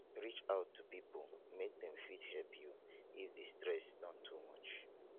reach out to pipo make dem fit help you if di stress don too much